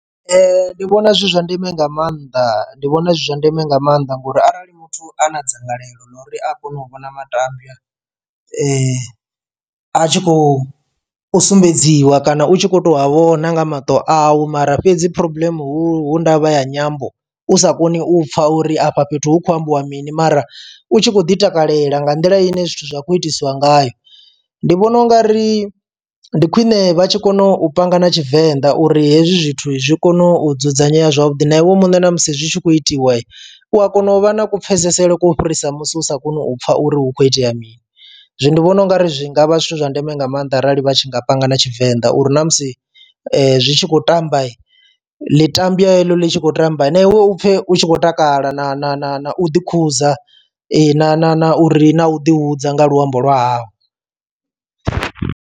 Ndi vhona zwi zwa ndeme nga maanḓa ndi vhona zwi zwa ndeme nga maanḓa ngori arali muthu a na dzangalelo ḽa uri a kone u vhona matambwa a tshi khou sumbedziwa kana u tshi kho to a vhona nga maṱo awu mara fhedzi problem hu ndavha ya nyambo u sa koni u pfha uri afha fhethu hu khou ambiwa mini mara u tshi khou ḓitakalela nga nḓila ine zwithu zwa khou itiswa ngayo. Ndi vhona ungari ndi khwiṋe vha tshi kona u panga na tshivenḓa uri hezwi zwithu zwi kone u dzudzanyela zwavhuḓi na iwe muṋe ṋamusi zwi tshi khou itiwa u ya kona u vha na ku pfesesele kwo fhirisa musi u sa koni u pfha uri hu kho itea mini zwi ndi vhona ungari zwi ngavha zwithu zwa ndeme nga maanḓa arali vha tshi nga panga na tshivenḓa uri na musi zwi tshi khou tamba ḽi tambwa heḽo ḽi tshi khou tamba na iwe u pfe u tshi khou takala na na na na u ḓi khuza ee na na na u ri na u ḓi hudza nga luambo lwa hawu.